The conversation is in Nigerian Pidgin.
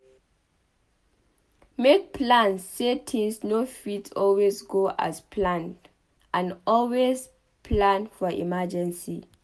make plans sey things no fit always go as planned and always plan for emergency